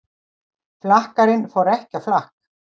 Flakkarinn fór ekki á flakk